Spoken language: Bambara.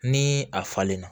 Ni a falenna